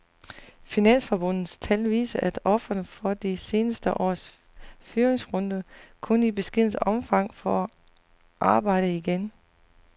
Finansforbundets tal viser, at ofrene for de seneste års fyringsrunder kun i beskedent omfang får arbejde igen.